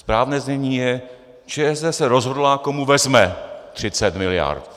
Správné znění je: ČSSD se rozhodla, komu vezme 30 miliard.